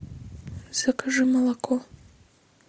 закажи молоко